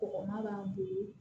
Kɔgɔma b'a bolo